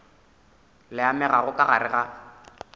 le amegago ka gare ga